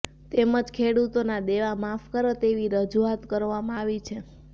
તેમજ ખેડૂતોના દેવા માફ કરો તેવી રજૂઆત કરવામાં આવી છે